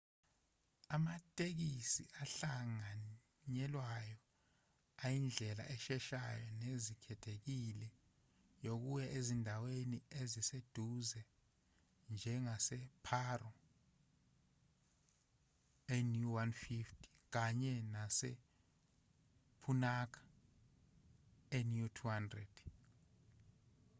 amatekisi ahlanganyelwayo ayindlela esheshayo nenethezekile yokuya ezindaweni eziseduze njengase-paro nu 150 kanye nase-punakha nu 200